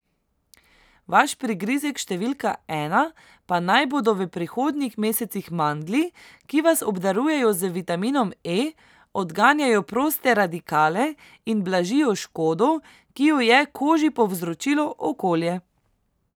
Vaš prigrizek številka ena pa naj bodo v prihodnjih mesecih mandlji, ki vas obdarujejo z vitaminom E, odganjajo proste radikale in blažijo škodo, ki jo je koži povzročilo okolje.